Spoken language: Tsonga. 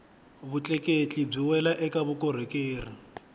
vutleketli byi wela eka vukorhokeri